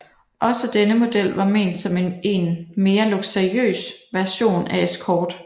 Også denne model var ment som en mere luksuriøs version af Escort